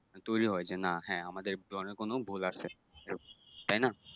তৈরি হয় যে না হ্যাঁ আমাদের ধর্মে কোন ভুল আছে তাইনা?